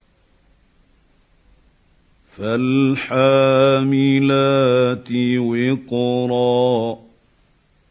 فَالْحَامِلَاتِ وِقْرًا